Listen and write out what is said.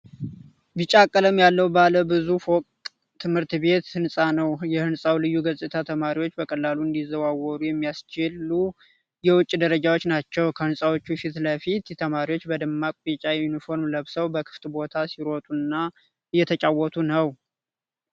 ቢጫ ቀለም ያለው ባለ ብዙ ፎቅ ትምህርት ቤት ህንፃ ነው። የህንፃው ልዩ ገጽታ ተማሪዎች በቀላሉ እንዲዘዋወሩ የሚያስችሉ የውጭ ደረጃዎች ናቸው። ከህንጻዎቹ ፊት ለፊት ተማሪዎች በደማቅ ቢጫ ዩኒፎርም ለብሰው በክፍት ቦታው ሲሮጡና እየተጫወቱ ነው።